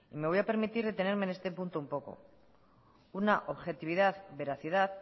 me voy a permitir detenerme en este punto un poco una objetividad veracidad